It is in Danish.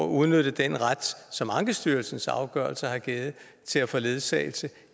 udnytter den ret som ankestyrelsens afgørelser har givet til at få ledsagelse